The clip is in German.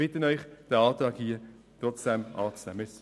Ich bitte Sie, diesen Antrag trotzdem anzunehmen.